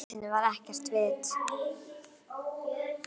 Í jötunni var ekkert vit.